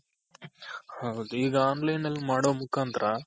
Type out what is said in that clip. ಹೌದು ಈಗ online ಅಲ್ ಮಾಡೋ ಮುಖಾಂತರ